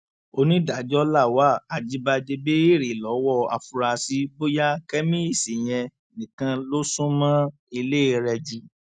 onídàájọ lawal ajíbádé béèrè lọwọ àfúráṣí bóyá kẹmíìsì yẹn nìkan ló sún mọ ilé rẹ jù